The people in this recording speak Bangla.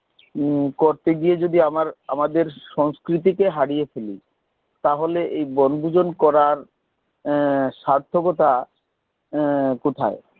হম করতে গিয়ে যদি আমার আমাদের সংস্কৃতি কে হারিয়ে ফেলি তাহলে এই বনভোজন করার সার্থকতা কোথায়